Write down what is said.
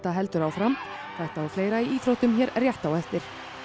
heldur áfram þetta og fleira í íþróttum hér rétt á eftir